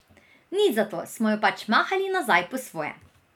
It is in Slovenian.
Nič za to, smo jo pač mahali nazaj po svoje.